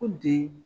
Ko bi